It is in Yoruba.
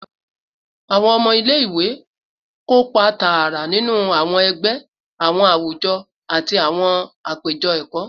Awọn ọmọ ile-iwe kopa taara ninu awọn ẹgbẹ, awọn awujọ, ati awọn apejọ ẹkọ